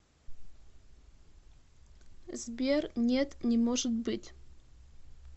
сбер нет не может быть